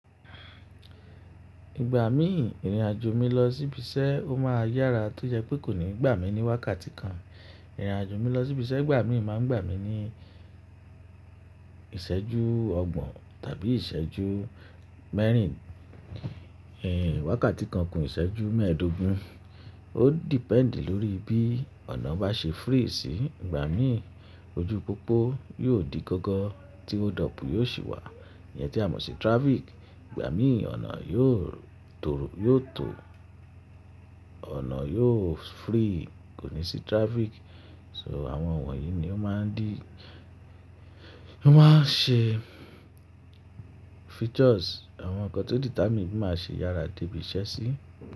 Ìgbà mí ìrìnàjò mi lọ síbí ṣẹ́ o máa yára tó jẹ́ pé kò ní gbà mí ní wákàtí kan. Ìrìnàjò mi lọ síbí ṣẹ́ ìgbà mí máa ń gbà mí ní ìṣẹ́jú ọgbọ̀n tàbí ìṣẹ́jú mẹ́rin, wákàtí kan kún ìṣẹ́jú mẹ́ẹ̀dógún. Ó depend lórí bí ọ̀nà bá ṣe free sií ìgbà mí. Ojú pópó yóò di gọ́gọ́ tí ó dọ̀pù yóò sì wà. Iyẹn tí a mọ̀ sí traffic. Ìgbà mí ọ̀nà yóò tòrò-- yóò tò, ọ̀nà yóò free kò ní sí traffic. So àwọn ọ̀wọ́n yìí ni ó máa ń dí-- ó máa ń ṣe features àwọn nǹkan tó determine bí màá ṣe yára dé ibi iṣẹ́ sí.